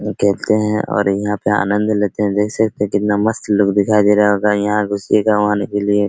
यहां खेलते है और यहाँ पे आनंद लेते है देख सकते है कितना मस्त लुक दिखाई दे रहा होगा यहां घुसिएगा वहां निकलिये।